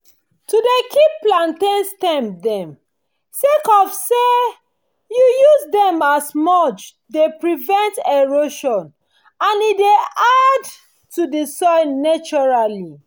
to dey keep plantain stems dem sake of say you use them as mulchs dey prevent erosion and e dey add to the soil naturally